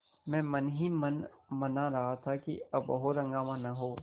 मैं मन ही मन मना रहा था कि अब और हंगामा न हो